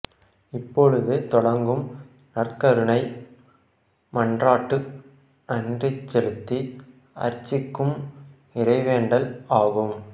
இப்பொழுது தொடங்கும் நற்கருணை மன்றாட்டு நன்றிசெலுத்தி அர்ச்சிக்கும் இறைவேண்டல் ஆகும்